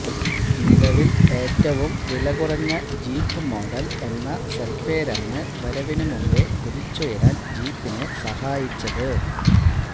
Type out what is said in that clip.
നിലവില് ഏറ്റവും വില കുറഞ്ഞ ജീപ്പ് മോഡല് എന്ന സല്പ്പേരാണ് വരവിന് മുമ്പെ കുതിച്ചുയരാന് ജീപ്പിനെ സഹായിച്ചത്